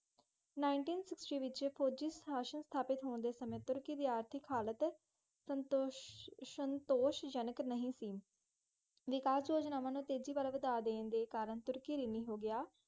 ninteen sixty ਵਿੱਚ ਫੌਜੀ ਸ਼ਾਸਨ ਸਥਾਪਤ ਹੋਣ ਦੇ ਸਮੇਂ ਤੁਰਕੀ ਦੀ ਆਰਥਕ ਹਾਲਤ ਸੰਤੋਸ਼ ਸੰਤੋਸ਼ਜਨਕ ਨਹੀਂ ਸੀ। ਵਿਕਾਸ - ਯੋਜਨਾਵਾਂ ਨੂੰ ਤੇਜੀ ਵਲੋਂ ਵਧਾ ਦੇਣ ਦੇ ਕਾਰਨ ਤੁਰਕੀ ਰਿਣੀ ਹੋ ਗਿਆ।